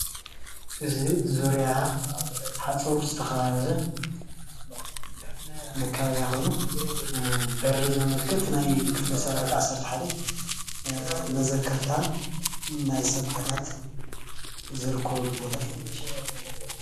እዚ ዙርያ ሓፁር ብዝተከበበ መከባብያ በሪ ዘመልክት ኮይኑ ናይ ክፍለ ሰራዊት 11 መዘከርታ ናይ ሰማእታት ዝርከብሉ ቦታ እዩ፡፡